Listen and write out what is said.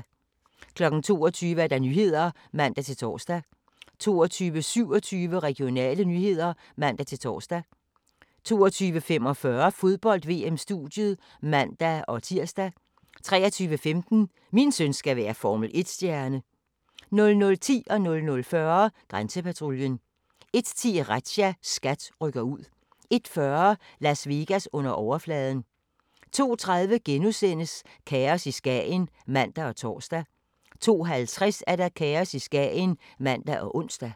22:00: Nyhederne (man-tor) 22:27: Regionale nyheder (man-tor) 22:45: Fodbold: VM-studiet (man-tir) 23:15: Min søn skal være Formel 1-stjerne 00:10: Grænsepatruljen 00:40: Grænsepatruljen 01:10: Razzia - SKAT rykker ud 01:40: Las Vegas under overfladen 02:30: Kaos i Skagen *(man og tor) 02:50: Kaos i Skagen (man og ons)